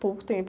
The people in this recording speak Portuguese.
Pouco tempo.